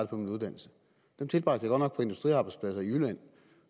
på min uddannelse dem tilbragte jeg godt nok på industriarbejdspladser i jylland